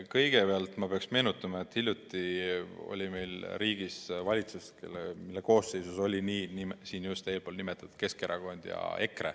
Kõigepealt ma pean meenutama, et hiljuti oli meil riigis võimul valitsus, mille koosseisus olid just äsja nimetatud Keskerakond ja EKRE.